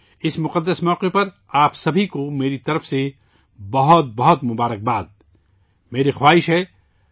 اس پرمسرت اور مقدس موقع پر آپ سبھی کو میری طرف سے بہت بہت نیک خواہشات